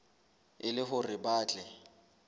e le hore ba tle